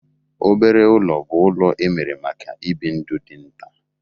Obere ụlọ bụ ụlọ emere maka ibi ndụ di nta.